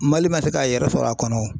Mali ma se k'a yɛrɛ sɔrɔ a kɔnɔ wo